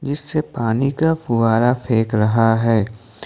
इससे पानी का फुआरा फेंक रहा है।